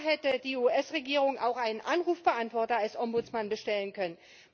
Da hätte die US Regierung auch einen Anrufbeantworter als Ombudsmann bestellen können!